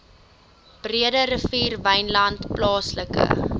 breederivier wynland plaaslike